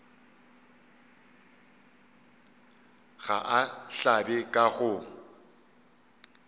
ga a hlabe ka go